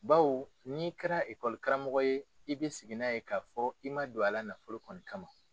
Baw n'i kɛra karamoko ye i bɛ sigi na ye k'a fɔ i ma don a la nafolo kɔni kama.